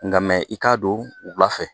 Nka i k'a don wula fɛ